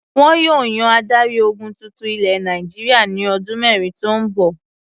Wọn yóò yan adarí-ogun tuntun ilẹ̀ Nàìjíríà ní ọdún mẹ́rin tó ń bọ̀.